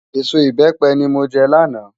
Ésó ibèpè ni mó jè làná